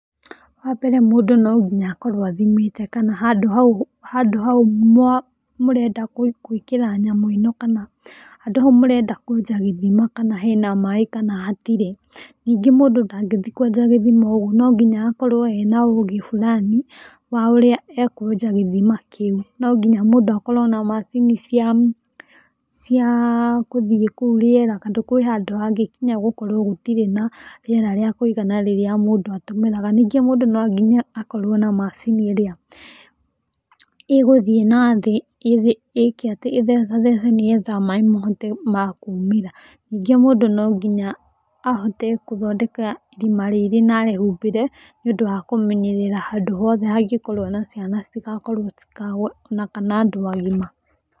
Wambere mũndũ nonginya akorwo athimĩte kana handũ hau mũrenda gwĩkĩra nyamũ ĩno kana handũ hau mũrenda kwenja gĩthima kana hena maĩ kana hatirĩ. Ningĩ mũndũ nangĩthiĩ kwenja gĩthima o ũguo no nginya akorwo ena ũgĩ burani wa ũrĩa e kwenja gĩthima kĩu. No nginya mũndũ akorwo na macini cia gũthiĩ kũu rĩera tondũ kũu he handũ kũngĩnya gũkorwo gũtirĩ na rĩera rĩa kũĩgana rĩrĩa mũndũ atũmĩraga. Ningĩ mũndũ no nginya akorwo na macini ĩrĩa ĩgũthĩ nathĩ ĩtheca thece nĩgetha maĩ mahote makumĩra. Ningĩ mũndũ nonginya ahote gũthondeka ĩrima rĩrĩ na arĩhumbĩre nĩ ũndũ wa kũmenyerera handũ hothe angĩkorwo na ciana citigakorwo citikagũe, ona kana andũ agima.